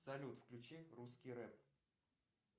салют включи русский рэп